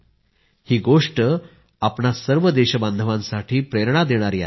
ही गोष्ट आपणा सर्व देशबांधवांसाठी प्रेरणा देणारी आहे